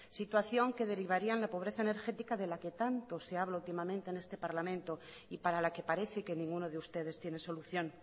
situación que derivaría en la pobreza energética de la que tanto se habla últimamente en este parlamento y para la que parece que ninguno de ustedes tiene solución